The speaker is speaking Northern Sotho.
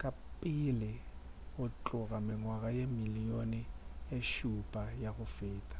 ka pele go tloga mengwaga ye dimilion tše šupa ya go feta